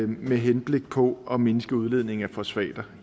med henblik på at mindske udledningen af fosfater